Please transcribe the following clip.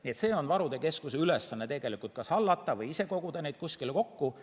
Nii et varude keskuse ülesanne on kas hallata või ise koguda neid kuskile kokku.